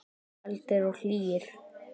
Kaldir og hlýir.